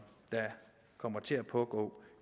der kommer til at pågå